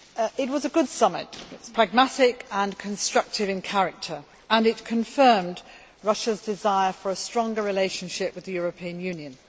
It was a good summit, it was pragmatic and constructive in character and it confirmed Russia's desire for a stronger relationship with the European Union.